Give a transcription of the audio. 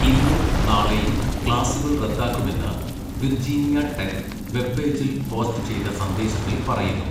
ഇന്നും നാളെയും ക്ലാസുകൾ റദ്ദാക്കുമെന്ന് വിർജീനിയ ടെക് വെബ് പേജിൽ പോസ്റ്റ് ചെയ്ത സന്ദേശത്തിൽ പറയുന്നു.